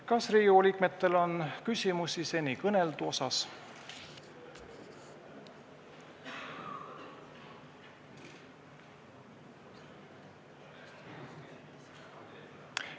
Kas Riigikogu liikmetel on küsimusi seni kõneldu kohta?